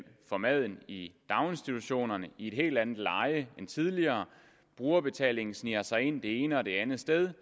for maden i daginstitutionerne i et helt andet leje end tidligere brugerbetalingen sniger sig ind det ene og det andet sted